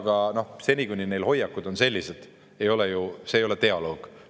Vaadake, seni kuni Venemaa hoiakud on sellised, ei ole see mingi dialoog.